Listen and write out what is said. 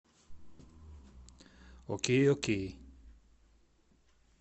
окей окей